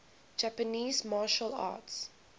japanese martial arts